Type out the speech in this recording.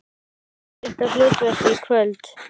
Hvert er ykkar hlutverk í kvöld?